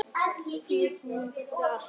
Því í búðinni fékkst allt.